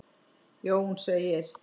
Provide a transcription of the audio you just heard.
Jón segir: